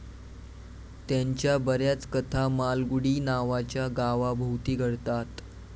त्यांच्या बऱ्याच कथा मालगुडी नावाच्या गावाभोवती घडतात.